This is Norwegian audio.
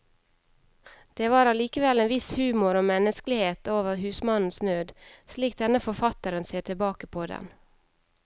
Det var allikevel en viss humor og menneskelighet over husmannens nød, slik denne forfatteren ser tilbake på den.